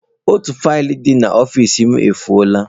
Otu faịlụ dị n'ọfịs m efụo la.